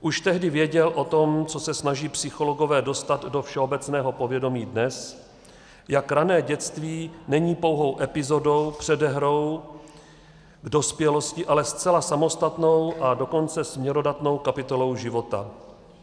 Už tehdy věděl o tom, co se snaží psychologové dostat do všeobecného povědomí dnes, jak rané dětství není pouhou epizodou, předehrou k dospělosti, ale zcela samostatnou, a dokonce směrodatnou kapitolou života.